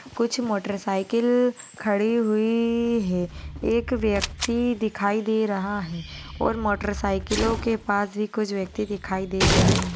कुछ motor cycle खडी हुई है एक व्यक्ति दिखाई दे रहा है और मोटर सायकलों के पास भी कुछ व्यक्ति दिखाई दे रहे है।